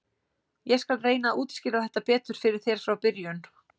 Ég skal reyna að útskýra þetta betur fyrir þér frá byrjun.